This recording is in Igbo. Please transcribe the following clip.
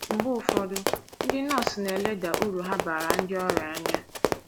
Mgbe ụfọdụ, ndị nọọsụ na - eleda uru ha baara ndị ọria anya.